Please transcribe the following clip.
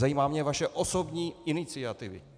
Zajímá mě vaše osobní iniciativa!